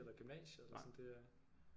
Eller gymnasiet eller sådan det er